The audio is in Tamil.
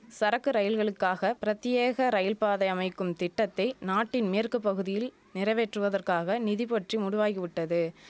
சரக்கு ரயில்களுக்காக பிரத்தியேக ரயில்பாதை அமைக்கும் திட்டத்தை நாட்டின் மேற்கு பகுதியில் நிறைவேற்றுவதற்காக நிதி பற்றி முடுவாகி விட்டது